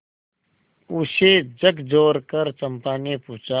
उसे झकझोरकर चंपा ने पूछा